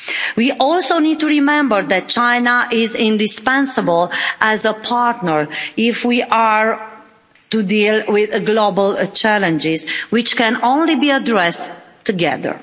We also need to remember that China is indispensable as a partner if we are to deal with global challenges, which can only be addressed together.